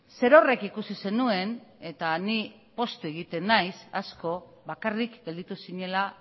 zerorrek ikusi zenuen eta ni poztu egiten naiz asko bakarrik gelditu zinela